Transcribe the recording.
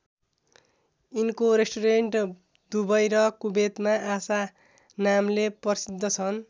यिनको restaurant Dubai र कुवेतमा आशा नामले प्रसिद्ध छन्।